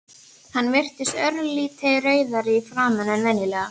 Hann virtist örlítið rauðari í framan en venjulega.